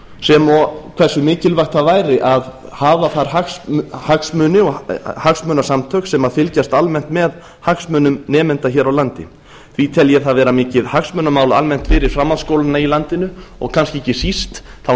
sem og hversu mikilvægt það væri að hafa þar hagsmunasamtök sem fylgjast almennt með hagsmunum nemenda hér á landi því tel ég það vera mikið hagsmunamál almennt fyrir framhaldsskólana í landinu og kannski ekki síst þá